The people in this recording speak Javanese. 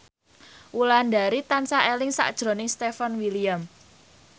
Wulandari tansah eling sakjroning Stefan William